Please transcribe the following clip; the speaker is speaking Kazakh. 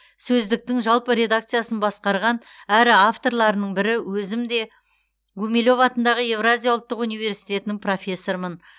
сөздіктің жалпы редакциясын басқарған әрі авторларының бірі өзім де гумилев атындағы еуразия ұлттық университетінің профессорымын